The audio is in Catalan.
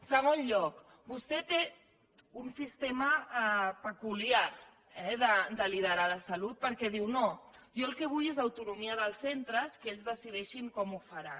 en segon lloc vostè té un sistema peculiar eh de liderar la salut perquè diu no jo el que vull és autonomia dels centres que ells decideixin com ho faran